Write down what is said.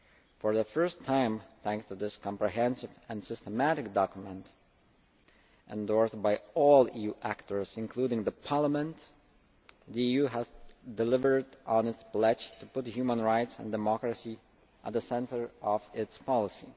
For the first time, thanks to this comprehensive and systematic document endorsed by all EU actors including Parliament, the EU has delivered on its pledge to put human rights and democracy at the centre of its policy.